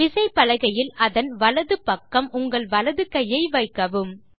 விசைப்பலகையில் அதன் வலது பக்கம் உங்கள் வலது கையை வைக்கவும்